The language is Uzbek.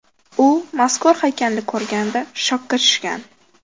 U mazkur haykalni ko‘rganida shokka tushgan.